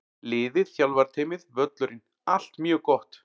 Liðið, þjálfarateymið, völlurinn- allt mjög gott!